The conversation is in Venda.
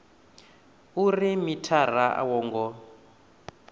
uri mithara a wo ngo